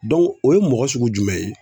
o ye mɔgɔ sugu jumɛn ye?